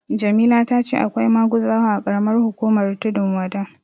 Jamila ta ce akwai maguzawa a ƙaramar hukumar Tundun Wada.